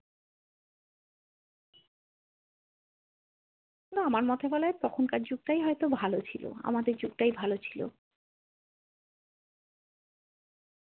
আমার মতে বলে তখনকার যুগটাই হয়তো ভালো ছিল আমাদের যুগটাই ভালো ছিল।